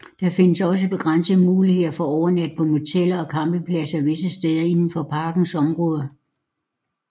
Der findes også begrænsede muligheder for at overnatte på moteller og campingpladser visse steder indenfor parkens område